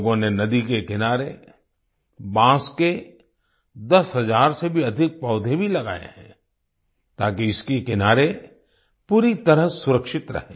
लोगों ने नदी के किनारे बांस के 10 हजार से भी अधिक पौधे भी लगाए हैं ताकि इसके किनारे पूरी तरह सुरक्षित रहें